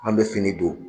An bɛ fini don